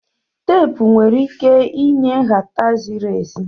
Teepu nwere ike inye nhata ziri ezi.